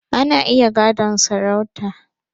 Ana iya gadon sarauta